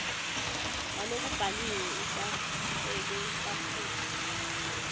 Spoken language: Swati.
walokubhaliwe ulahleke kakhulu